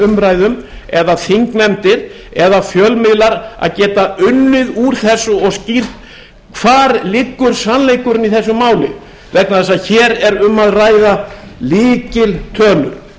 umræðum eða þingnefndir eða fjölmiðlar að geta unnið úr þessu og geta skýrt hvar liggur sannleikurinn í þessu máli vegna þess að hér er um að ræða lykiltölur